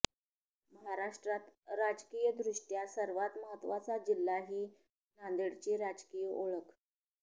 महाराष्ट्रात राजकीयदृष्ट्या सर्वात महत्त्वाचा जिल्हा ही नांदेडची राजकीय ओळख